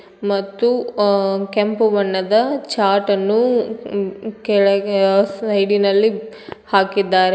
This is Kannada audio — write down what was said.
ಮತ್ತು ಆ- ಕೆಂಪು ಬಣ್ಣದ ಚಾಟನ್ನು ಮ್ಮ್ - ಕೆಳಗೆ ಸೈಡಿ ನಲ್ಲಿ ಹಾಕಿದ್ದಾರೆ ಮತ್--